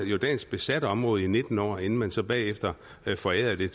jordansk besat område i nitten år inden man så bagefter forærede det